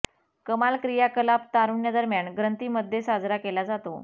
कमाल क्रियाकलाप तारुण्य दरम्यान ग्रंथी मध्ये साजरा केला जातो